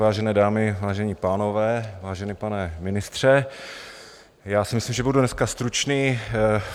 Vážené dámy, vážení pánové, vážený pane ministře, já si myslím, že budu dneska stručný.